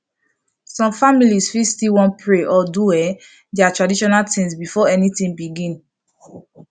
some families fit still wan pray or do um their traditional things before anything begin